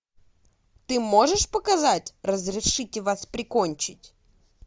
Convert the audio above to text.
ты можешь показать разрешите вас прикончить